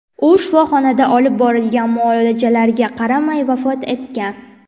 U shifoxonada olib borilgan muolajalarga qaramay vafot etgan.